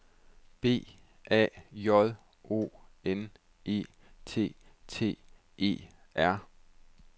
B A J O N E T T E R